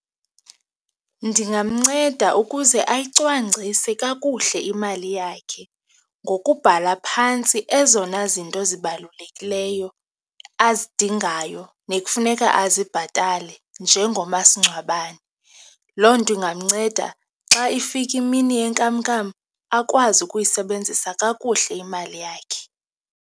Ndingamnceda ukuze ayicwangcise kakuhle imali yakhe ngokubhala phantsi ezona zinto zibalulekileyo azidingayo nekufuneka azibhatale njengomasingcwabane. Loo nto ingamnceda xa ifika imini yenkamnkam, akwazi ukuyisebenzisa kakuhle imali yakhe.